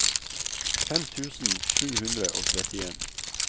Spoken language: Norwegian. fem tusen sju hundre og trettien